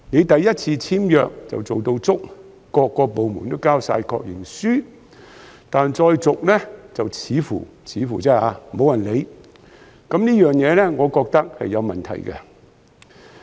首次簽約時，各個部門都做足工作，提交了確認書，但再續約時，便似乎——似乎而已——沒有人理會，我認為這情況是有問題的。